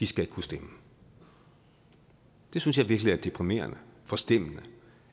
skal ikke kunne stemme jeg synes virkelig det er deprimerende forstemmende